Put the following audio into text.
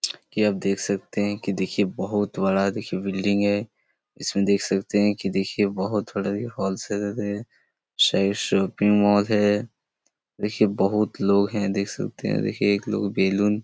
की आप देख सकते है की देखिये बहुत बड़ा देखिये बिल्डिंग है इसमें देख सकते है की देखिये बहुत बड़ा ए होल्सलेर है शायद शोपिंग मोल है देखिये बहुत लोग है देख स्कते है देखिये एक लोग बैलून --